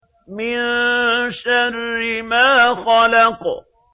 مِن شَرِّ مَا خَلَقَ